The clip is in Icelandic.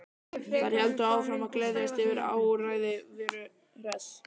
Þær héldu áfram að gleðjast yfir áræði Veru Hress.